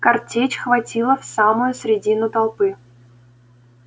картечь хватила в самую средину толпы